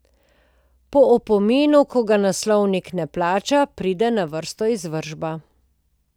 Po opominu, ki ga naslovnik ne plača, pride na vrsto izvršba.